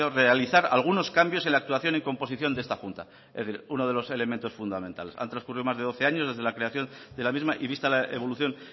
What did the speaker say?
realizar algunos cambios en la actuación y composición de esta junta es decir uno de los elementos fundamentales han trascurrido más de doce años desde la creación de la misma y vista la evolución